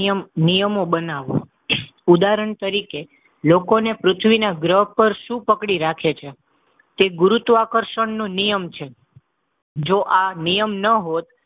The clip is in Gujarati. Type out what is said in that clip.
નિયમ નિયમો બનાવવા. ઉદાહરણ તરીકે, લોકોને પૃથ્વીના ગ્રહ પર શું પકડી રાખે છે? તે ગુરુત્વાકર્ષણનો નિયમ છે. જો આ નિયમ ન હોત,